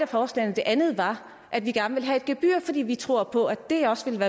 forslagene det andet var at vi gerne vil have et gebyr fordi vi tror på at det også vil